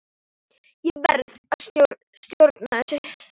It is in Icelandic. Ég verð að stjórna þessu.